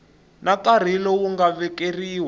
na nkarhi lowu nga vekeriwa